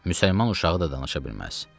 Müsəlman uşağı da danışa bilməz.